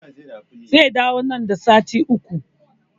Zai dawo nan da sati uku